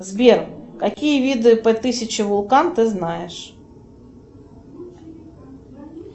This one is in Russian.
сбер какие виды п тысячи вулкан ты знаешь